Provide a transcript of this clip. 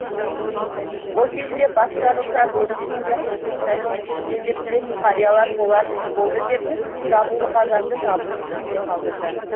ол кезде бас жарылса бөрік ішінде қол сынса жең ішінде деп білетін қариялар болар іс болды деп жабулы қазанды жабулы күйінде қалдырды